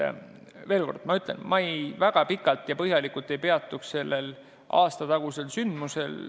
Ma veel kord, et ma ei väga pikalt ja põhjalikult ei peatuks sellel aastatagusel sündmusel.